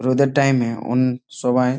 রোদ এর টাইম এ অন সবাই--